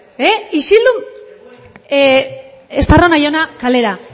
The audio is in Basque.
estarrona jauna kalera